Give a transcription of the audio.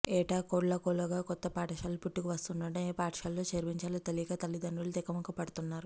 ఏటా కోకొల్లలుగా కొత్త పాఠశాలలు పుట్టుకు వస్తుండడంతో ఏ పాఠశాలలో చేర్పించాలో తెలీక తలిదండ్రులు తికమక పడుతున్నారు